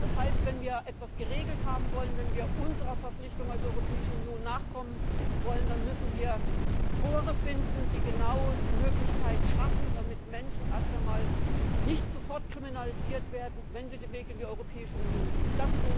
Das heißt, wenn wir etwas geregelt haben wollen, wenn wir unserer Verpflichtung als Europäische Union nachkommen wollen, dann müssen wir Tore finden, die genau die Möglichkeiten schaffen, dass Menschen erst einmal nicht sofort kriminalisiert werden, wenn sie den Weg in die Europäische Union suchen.